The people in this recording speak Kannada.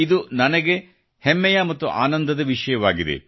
ಇದು ನನಗೆ ಹೆಮ್ಮೆಯ ಮತ್ತು ಆನಂದದ ವಿಷಯವಾಗಿದೆ